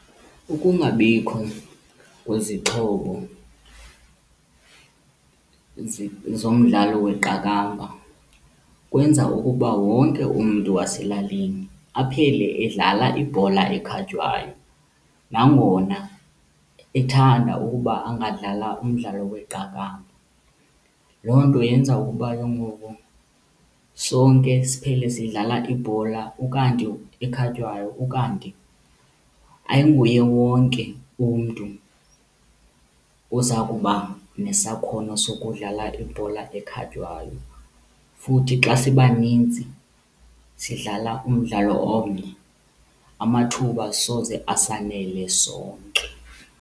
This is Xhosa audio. Ukungabikho kwezixhobo zomdlalo weqakamba kwenza ukuba wonke umntu waselalini aphele edlala ibhola ekhatywayo nangona ethanda ukuba angadlala umdlalo weqakamba. Loo nto yenza ukuba ke ngoku sonke siphele sidlala ibhola ukanti ekhatywayo ukanti ayinguye wonke umntu oza kuba nesakhono sokudlala ibhola ekhatywayo. Futhi xa sibaninzi sidlala umdlalo omnye amathuba soze asanele sonke.